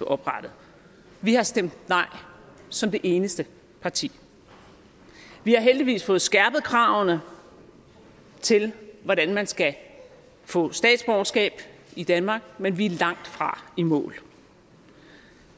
oprettet vi har stemt nej som det eneste parti vi har heldigvis fået skærpet kravene til hvordan man skal få statsborgerskab i danmark men vi er langtfra i mål